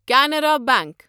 Canara bank